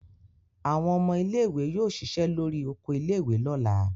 Àwọn ọmọ ilé-ìwé yóò ṣiṣẹ́ lórí oko ilé-ìwé lọ́la.